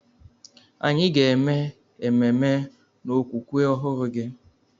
Anyị ga eme ememe n'okwukwe ọhụrụ gị.